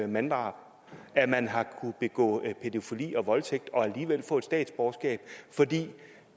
manddrab at man har kunnet begå pædofili og voldtægt og alligevel få statsborgerskab fordi